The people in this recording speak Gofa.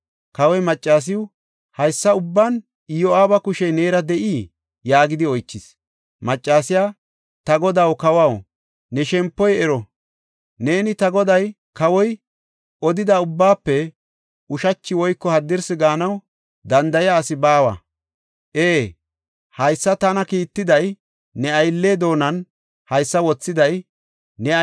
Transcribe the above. Kawoy maccasiw, “Haysa ubban Iyo7aaba kushey neera de7ii?” yaagidi oychis. Maccasiya, “Ta godaw, kawaw, ne shempoy ero! Neeni ta goday, kawoy, odida ubbaafe ushachi woyko haddirsi gaanaw danda7iya asi baawa. Ee, haysa tana kiittiday, ne aylle doonan haysa wothiday ne aylliya Iyo7aaba.